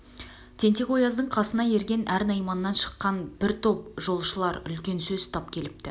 тентек-ояздың қасына ерген өр найманнан шыққан бір топ жоқшылар үлкен сөз ұстап келіпті